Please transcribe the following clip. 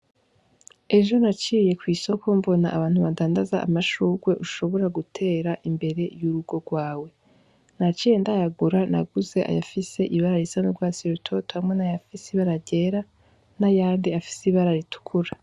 Ejo naciye kw'isoko mbona abantu badandaza amashugwe ushobora gutera imbere y'urugo rwawe. Naciye ndayagura, naguze ayafise ibara risa n'urwatsi rutoto hamwe n'ayafise ibara ryera n'ayandi afise ibara ritukura.